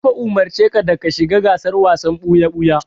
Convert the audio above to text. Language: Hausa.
Na fa umurci ka da ka shiga gasar wasan ɓuya-ɓuya!